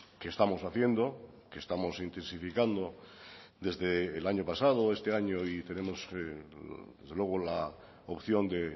que estamos haciendo que estamos intensificando desde el año pasado este año y tenemos desde luego la opción de